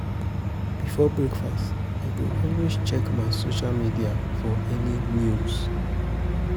Before breakfast, I go always check my social media for any news on